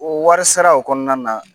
O wari sara o kɔnɔna na